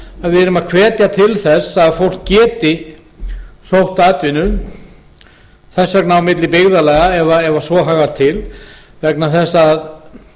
að við erum að hvetja til þess að fólk geti sótt atvinnu þess vegna á milli byggðarlaga ef svo háttar til vegna þess að